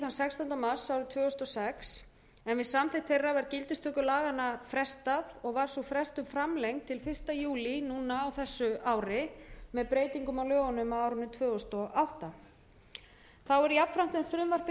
sex en við samþykkt þeirra var gildistöku laganna frestað og var sú frestun framlengd til fyrsta júlí núna á þessu ári með breytingum á lögunum árið tvö þúsund og átta þá er jafnframt með frumvarpi